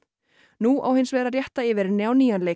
nú á hins vegar að rétta yfir henni á nýjan leik